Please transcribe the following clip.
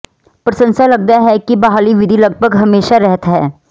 ਪ੍ਰਸੰਸਾ ਲੱਗਦਾ ਹੈ ਕਿ ਬਹਾਲੀ ਵਿਧੀ ਲਗਭਗ ਹਮੇਸ਼ਾ ਰਹਿਤ ਹੈ